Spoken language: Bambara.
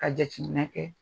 Ka jateminɛ kɛ